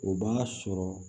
O b'a sɔrɔ